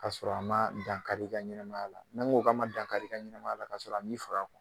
Ka sɔrɔ a ma dankari i ka ɲɛnama ya la .Ni n ko k'a ma dankari ka ɲɛnamaya la ka sɔrɔ a m'i faga .